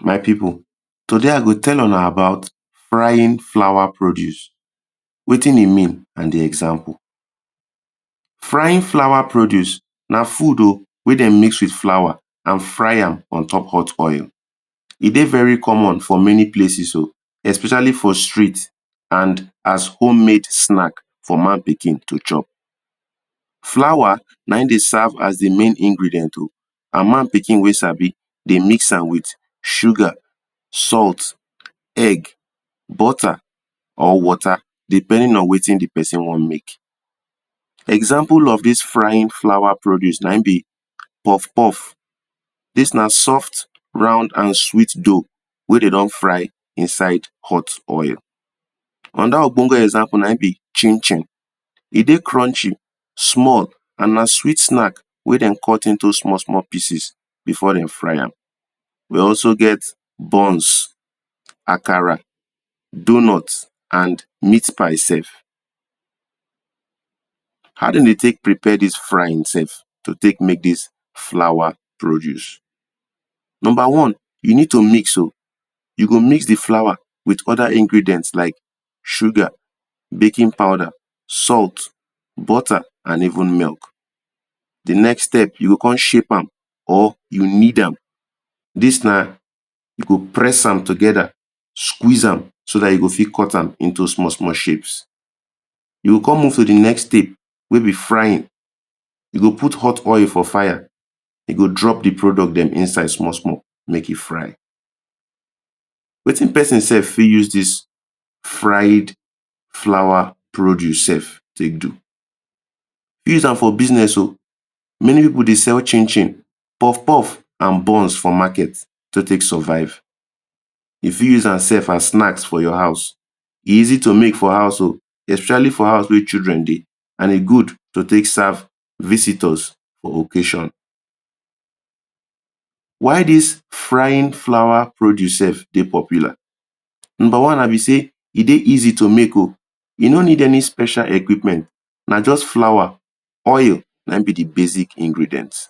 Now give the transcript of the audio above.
My people today i go tell una about frying flour produce, wetin e mean and the example. Frying flour produce na food o weh them mix with flour and fry am ontop hot oil, e dey very common for many places o especially for street and as homemade snack for man pikin to chop Flour na him de serve as the main ingredient o and man pikin weh sabi dey mix am with sugar, salt, egg, butter or water depending on wetin the person wan make Examples of this frying flour produce na him be puff puff dis na soft, round and sweet dough weh they don fry inside hot oil Another obongo example na him be chin chin e dey crunchy, small and na sweet snack weh them cut into small small pieces before them fry am We also get buns, akara, doughnut and meat pie sef How them de take prepare this frying sef to take make this flour produce. Number one, you need to mix o. You go mix the flour with other ingredients like sugar, baking powder, salt, butter and even milk The next step you go come shape am or you knead am dis na you go press am together, squeeze am so that you go fit cut am into small small shapes You go come move to the next step weh be frying You go put hot oil for fire you go drop the product them inside small small make e fry Wetin person sef fit use dis fried flour produce sef take do You fit Use am for business o Many people de sell chin chin, puff puff and buns for market to take survive You fit use am sef as snacks for your house. E easy to make for house o, especially for house weh children dey, and e good to take serve visitors for occasion Why dis frying flour produce sef de popular? Number one be say e de easy to make o, you no need any special equipment, na just flour, oil na him be the basic ingredient